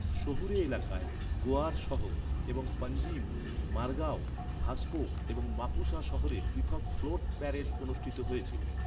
শহুরে এলাকায়, গোয়ার শহর এবং পাঞ্জিম, মারগাও, ভাস্কো এবং মাপুসা শহরে পৃথক ফ্লোট প্যারেড অনুষ্ঠিত হয়েছিল।